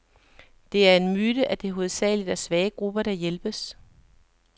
Det er en myte, at det hovedsageligt er svage grupper, der hjælpes.